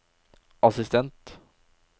assistent